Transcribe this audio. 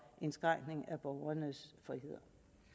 indskrænkninger i borgernes frihed